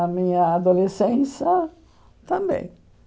A minha adolescência também.